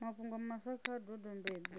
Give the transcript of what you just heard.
mafhungo maswa kha a dodombedzwe